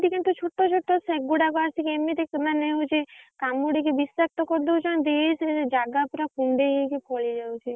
ଛୋଟ ଛୋଟ ସେଗୁଡାକ ଆସିକି ଏମିତି ମାନେ ହଉଛି କାମୁଡିକି ବିଷାକ୍ତ କରିଦଉଛନ୍ତି ସେ ଜାଗା ପୁରା କୁଣ୍ଡେଇ ହେଇକି ଫଳିଯାଉଛି।